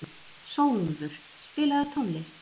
Sólúlfur, spilaðu tónlist.